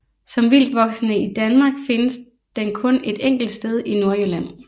Som vildtvoksende i Danmark findes den kun et enkelt sted i Nordjylland